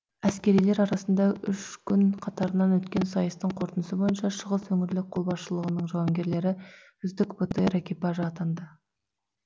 әскерилер арасында үш күн қатарынан өткен сайыстың қорытындысы бойынша шығыс өңірлік қолбасшылығының жауынгерлері үздік бтр экипажы атанды